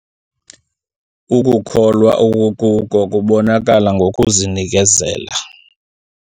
Ukukholwa okukuko kubonakala ngokuzinikela.